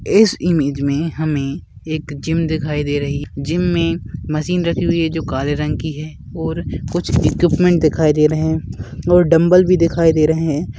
इस इमेज मे हमे एक जिम दिखाई दे रही है जिम मे मशीन रखी हुई है जो काले रंग की है और कुछ इक्विप्मन्ट दिखाई दे रहे है और डंबल भी दिखाई दे रहे है।